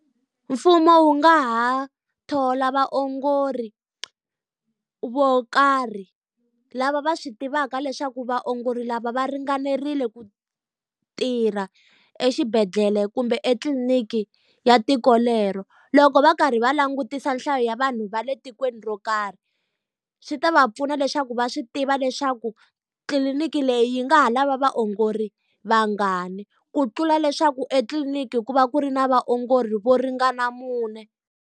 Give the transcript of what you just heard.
Mfumo wu nga ha thola vaongori vo karhi lava va swi tivaka leswaku vaongori lava va ringanerile ku tirha exibedhlele kumbe etliniki ya tiko lero. Loko va karhi va langutisa nhlayo ya vanhu va le tikweni ro karhi, swi ta va pfuna leswaku va swi tiva leswaku tliliniki leyi yi nga ha lava vaongori vangani. Ku tlula leswaku etliliniki ku va ku ri na vaongori vo ringana mune.